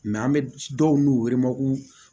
an bɛ dɔw n'u